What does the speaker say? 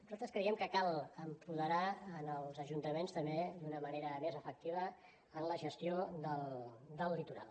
nosaltres creiem que cal apoderar els ajuntaments també d’una manera més efectiva en la gestió del litoral